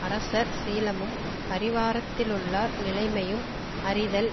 அரசர் சீலமும் பரிவாரத்திலுள்ளார் நிலைமையும் அறிதல்